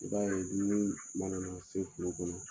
I b'a ye min mana se kungo kɔnɔ